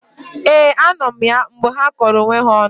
Ee, anọ m ya mgbe ha kọrọ onwe ha ọnụ